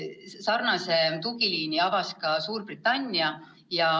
Samasuguse tugiliini avas ka Suurbritannia.